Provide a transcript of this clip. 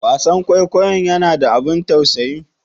Wasan kwaikwayonnya na da abun tausayi?